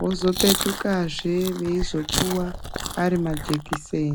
vozopetukazve veizopiwa sti majekiseni.